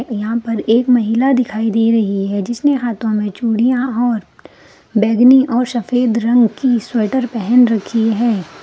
यहाँ पर एक महिला दिखाई दे रही हैं जिसने हाथो में चूड़ियाँ और बैगनी और सफ़ेद रंग की स्वेटर पहन रखी है।